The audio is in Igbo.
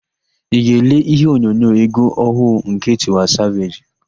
Ị ga-ele íhé onyonyo égwú ọhụụ nke Tiwa Saveji?